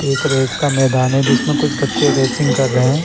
देख रहे हैं इसका एक रेस का मैदान है जिसमें कुछ बच्चे रेसिंग कर रहे हैं।